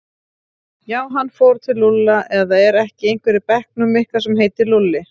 Já, hann fór til Lúlla eða er ekki einhver í bekknum ykkar sem heitir Lúlli?